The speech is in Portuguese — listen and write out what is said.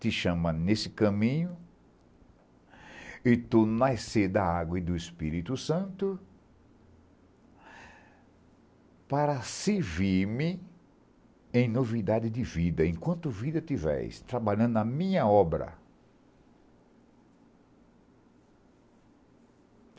Te chama nesse caminho e tu nascer da água e do Espírito Santo para servir-me em novidade de vida, enquanto vida tiveres, trabalhando na minha obra.